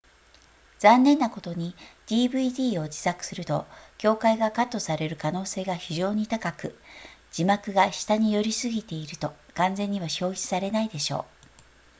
残念なことに dvd を自作すると境界がカットされる可能性が非常に高く字幕が下に寄りすぎていると完全には表示されないでしょう